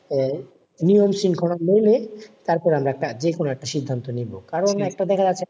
আহ নিয়ম শৃঙ্খলা মেনে তারপরে আমরা একটা যে কোন একটা সিদ্ধান্ত নেব। কারণ একটা দেখা যাচ্ছে,